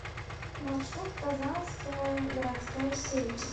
маршрут казанская городская сеть